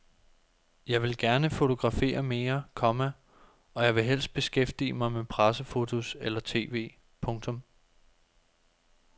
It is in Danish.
Jeg vil gerne fotografere mere, komma og jeg vil helst beskæftige mig med pressefotos eller tv. punktum